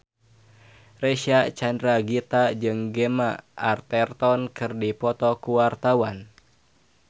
Reysa Chandragitta jeung Gemma Arterton keur dipoto ku wartawan